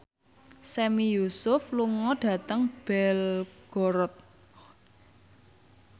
Sami Yusuf lunga dhateng Belgorod